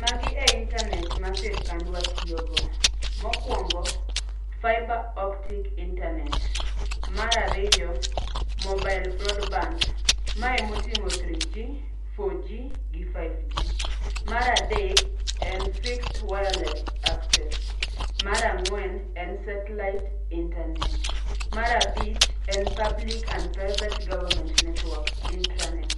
Magi e intanet ma sirikandwa tiyogo. Mokwongo, fibre optic internet. Mar ariyo, mobile broadband. Mae emoting'o three g, four g, gi five g. Mar adek, en fixed wireless access. Mar ang'wen, en satellite internet. Mar abich, en public and private government network(intranet).